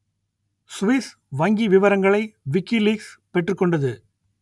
Swiss வங்கி விவரங்களை WikiLeaks பெற்றுக் கொண்டது